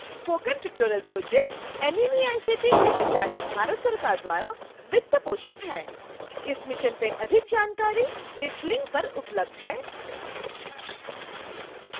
spoken tutorial project NMEICT MHRD Bharat सरकार द्वारा वित्त पोषित है